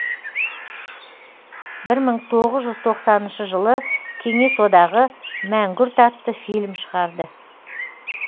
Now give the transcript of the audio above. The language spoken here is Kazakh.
бір мың тоғыз жүз тоқсаныншы жылы кеңес одағы мәңгүрт атты фильм шығарды